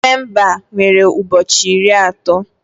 Nọvemba nwere ụbọchị iri atọ